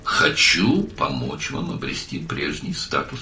Sizə əvvəlki statusunuzu qaytarmağa kömək etmək istəyirəm.